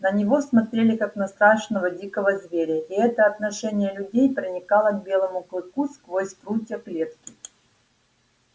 на него смотрели как на страшного дикого зверя и это отношение людей проникало к белому клыку сквозь прутья клетки